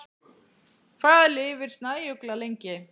Hvað lifir snæugla lengi?